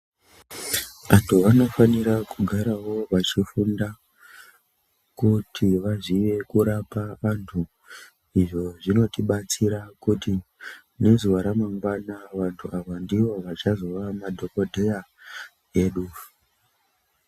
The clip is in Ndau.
Vantu vanofanirawo kugara vachifunda kuti vazive kurapa vantu izvo zvinotidatsira kuti ramangwani vantu ava ndivo vachazova madhokodheya edu.